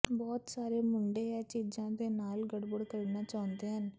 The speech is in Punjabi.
ਬਹੁਤ ਸਾਰੇ ਮੁੰਡੇ ਇਹ ਚੀਜ਼ਾਂ ਦੇ ਨਾਲ ਗੜਬੜ ਕਰਨਾ ਚਾਹੁੰਦੇ ਹਨ